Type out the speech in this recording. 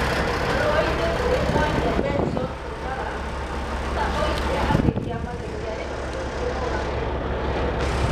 Marũa-inĩ kũrĩ Mwaria Benson Mũtura, Sifuna oigire atĩ kĩama gĩtia hĩtokĩtie mogarũrũku macio.